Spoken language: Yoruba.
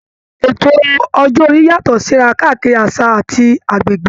Ètò ọjọ́ orí yàtọ̀ síra káàkiri àṣà àti agbègbè